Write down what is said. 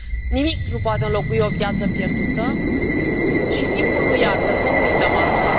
Nimic nu poate înlocui o viață pierdută și timpul nu iartă, să nu uităm aceasta.